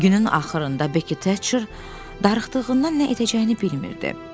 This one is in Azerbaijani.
Günün axırında Becky Thatcher darıxdığından nə edəcəyini bilmirdi.